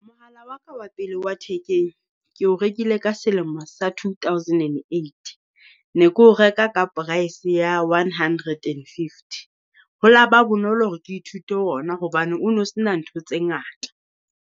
Mohala wa ka wa pele wa thekeng, ke o rekile ka selemo sa two thousand and eighty. Ne ke o reka ka price ya one hundred and fifty. Ho la ba bonolo hore ke ithute ona hobane o no se na ntho tse ngata.